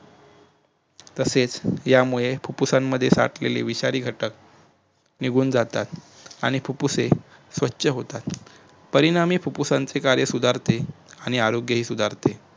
तसेच यामुळे फुप्फुसांमध्ये साठलेली विषारी घटक निघून जातात आणि फुप्फुसे स्वछ होतात परिणामी फुप्फुसाचे कार्य सुधारते आणि आरोग्य ही सुधारते